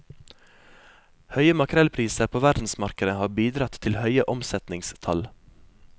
Høye makrellpriser på verdensmarkedet har bidratt til høye omsetningstall.